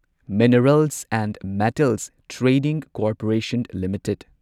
minerals and metals trading corporation limited